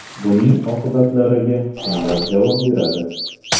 Buning oqibatlariga kimlar javob beradi?